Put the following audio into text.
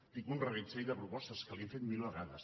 tinc un reguitzell de propostes que li hem fet mil vegades